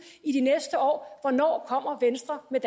i de næste år hvornår kommer venstre med